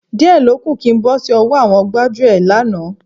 Díẹ̀ ló kù kí n bọ́ sí ọwọ́ àwọn gbájúẹ̀ lánàá.